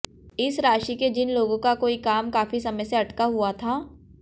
इस राशि के जिन लोगों का कोई काम काफी समय से अटका हुआ था